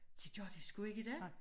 Det gør de sgu ikke i dag